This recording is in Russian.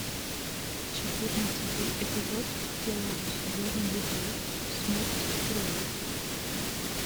четырнадцатый эпизод первого сезона любовь смерть и роботы